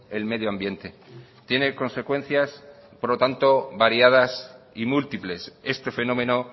el medio ambiente tiene consecuencias por lo tanto variadas y múltiples este fenómeno